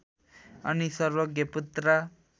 अनि सर्वज्ञ पुत्र